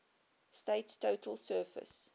state's total surface